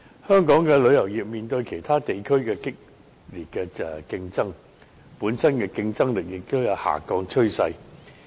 香港的旅遊業面對其他地區的激烈競爭，本身競爭力亦有下降趨勢。